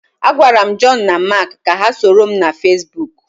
Agwara m Joonu na Maak ka ha soro m na Feesbuk.